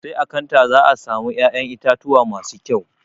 Sai a kanta za a samu ya'yan itatuwa masu kƴau.